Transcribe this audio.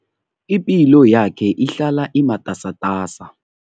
Ipilo yakhe ihlala imatasatasa.